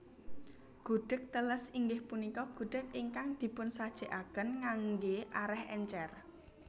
Gudheg teles inggih punika gudheg ingkang dipunsajèkaken nganggé arèh èncèr